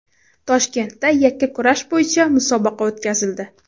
Toshkentda yakkakurash bo‘yicha musobaqa o‘tkazildi.